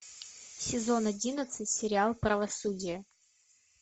сезон одиннадцать сериал правосудие